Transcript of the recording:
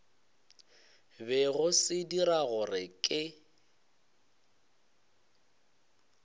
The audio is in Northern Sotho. bego se dira gore ke